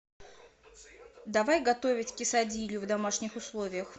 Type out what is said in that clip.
давай готовить кесадилью в домашних условиях